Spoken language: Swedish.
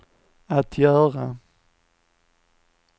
att göra